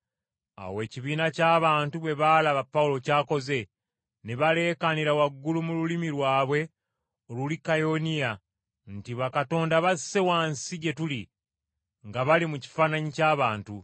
Awo ekibiina ky’abantu bwe baalaba Pawulo ky’akoze, ne baleekaanira waggulu mu lulimi lwabwe Olulikaoniya nti, “Bakatonda basse wansi gye tuli nga bali mu kifaananyi ky’abantu!”